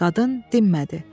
Qadın dinmədi.